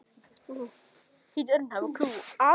Sjá hvað?